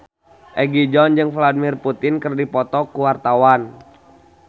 Egi John jeung Vladimir Putin keur dipoto ku wartawan